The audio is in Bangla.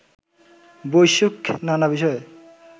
বৈশ্বিক নানা বিষয়ে